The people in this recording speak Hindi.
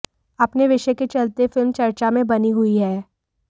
अपने विषय के चलते यह फिल्म चर्चा में बनी हुई है